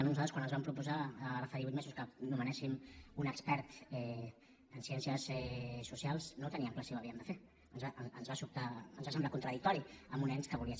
nosaltres quan ens van proposar ara fa divuit mesos que nomenéssim un expert en ciències socials no teníem clar si ho havíem de fer ens va semblar contradictori en un ens que volia ser